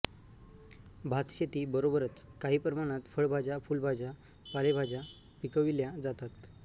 भातशेती बरोबरच काही प्रमाणात फळभाज्या फुलभाज्या पालेभाज्या पिकविल्या जातात